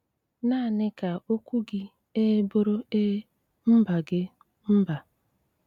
Náaní ká ókwú gí Éé bụ́rụ Éé, Mbá gí, Mbá.